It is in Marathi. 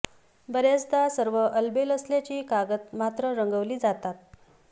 बऱ्याचदा सर्व अलबेल असल्याची कागद मात्र रंगवली जातात